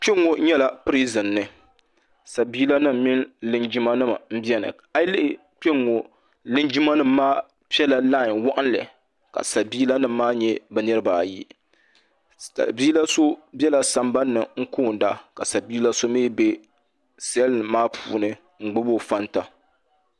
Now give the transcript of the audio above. kpɛŋɔ nyɛla pɛrizin ni sabila nim mini linjima nim bɛni ayilihi kpɛŋɔ linjimanim maa pɛla laani waɣinili ka sabila nim maa nyɛ be niribaayi sabila so bɛla sabani konida ka sabila so mi bɛ salinim maa puuni n gbabi o ƒɔnita